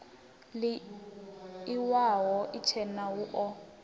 ii iwalo itshena hu o